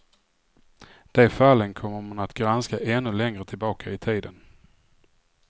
De fallen kommer man att granska ännu längre tillbaka i tiden.